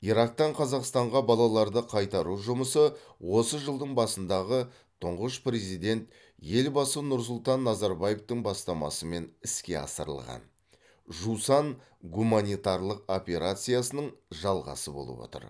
ирактан қазақстанға балаларды қайтару жұмысы осы жылдың басындағы тұңғыш президент елбасы нұрсұлтан назарбаевтың бастамасымен іске асырылған жусан гуманитарлық операциясының жалғасы болып отыр